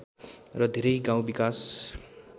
र धेरै गाउँ विकास